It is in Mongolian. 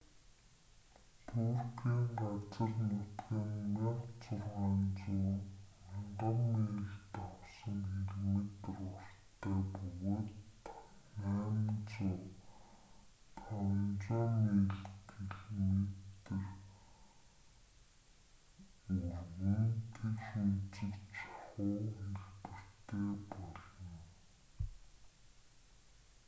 түркийн газар нутаг нь 1600 1000 мил давсан км уртта бөгөөд 800500 мил км өргөн тэгш өнцөгт шахуу хэлбэртэй болно